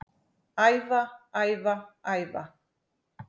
Æfa, æfa, æfa